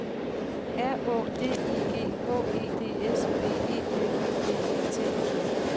R Å D I G H E D S B E L Ø B E T